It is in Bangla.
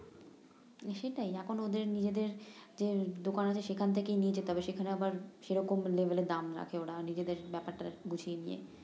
হম সেটাই এখন ওদের নিজেদের দের দোকান আছে সেখান থেকে নিয়ে যেতে হবে সেখানে আবার সেরকম লেভেলের দাম রাখে ওরা নিজেদের ব্যাপারটা বুঝিয়ে নিয়ে